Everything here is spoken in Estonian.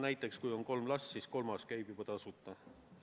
Näiteks kui peres on kolm last, siis kolmas käib lasteaias juba tasuta.